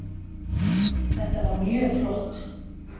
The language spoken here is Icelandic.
Þetta var mjög flott